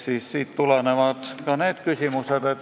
Siit tulenevad ka meie küsimused.